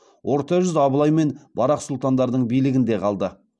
орта жүз абылай мен барақ сұлтандардың билігінде қалды